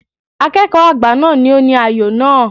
Akẹ́kọ̀ọ́ àgbà náà ni ó ní ayò náà.